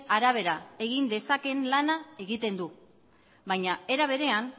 arabera egin dezaken lana egiten du baina era berean